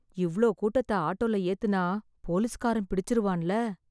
இவ்ளோ கூட்டத்த ஆட்டோல ஏத்துனா, போலிஸ்காரன் பிடிச்சுருவான்ல...